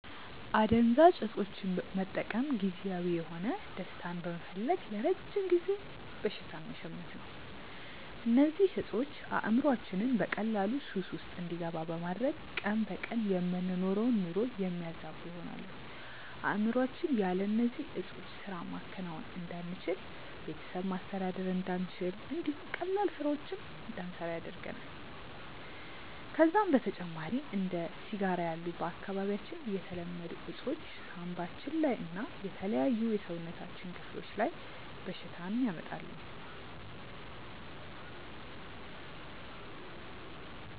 አደንዛዥ እፆችን መጠቀም ጊዜያዊ የሆነ ደስታን በመፈለግ ለረጅም ጊዜ በሽታን መሸመት ነው። እነዚህ እፆች አእምሮአችንን በቀላሉ ሱስ ውስጥ እንዲገባ በማድረግ ቀን በቀን የምንኖረውን ኑሮ የሚያዛቡ ይሆናሉ። አእምሮአችን ያለ እነዚህ ዕጾች ስራ ማከናወን እንዳንችል፣ ቤተሰብ ማስተዳደር እንዳንችል እንዲሁም ቀላል ስራዎችን እንዳንሰራ ያደርገናል። ከዛም በተጨማሪ እንደ ሲጋራ ያሉ በአካባቢያችን የተለመዱ እፆች ሳንባችን ላይ እና የተለያዩ የሰውነታችን ክፍሎች ላይ በሽታን ያመጣሉ።